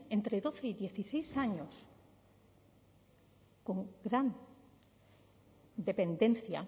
entre doce y dieciséis años con gran dependencia